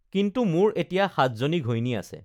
কিন্তু মোৰ এতিয়া সাতজনী ঘৈণী আছে